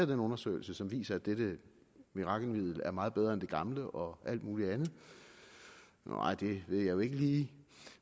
den undersøgelse som viser at dette mirakelmiddel er meget bedre end det gamle og alt muligt andet nej det ved jeg jo ikke lige